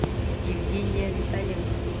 евгения витальевна